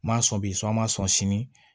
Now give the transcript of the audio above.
N ma sɔn bi so an ma sɔn sini